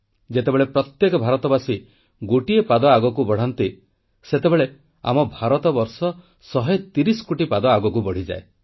ଯେତେବେଳେ ପ୍ରତ୍ୟେକ ଭାରତବାସୀ ଗୋଟିଏ ପାଦ ଆଗକୁ ବଢ଼ାନ୍ତି ସେତେବେଳେ ଆମ ଭାରତବର୍ଷ 130 କୋଟି ପାଦ ଆଗକୁ ବଢ଼ିଯାଏ